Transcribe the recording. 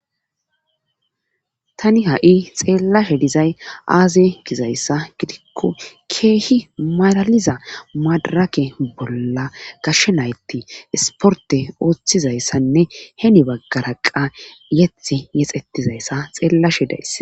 tani ha7i xeellashe dizay aaze gizayssa gidikko keehi malaliza madarake bolla kashshenayti isporte ooththizayssanne heni baggara qa yeti yexetizayssa xeellashe days